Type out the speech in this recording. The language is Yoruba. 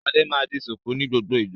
Ṣadé máa ń di ṣùkú ní gbogbo ìgbà.